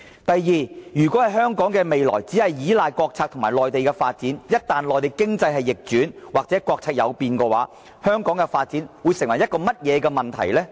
第二，如果香港的未來只依賴國策和內地的發展，一旦內地經濟逆轉或國策有變，香港的發展會出現甚麼問題呢？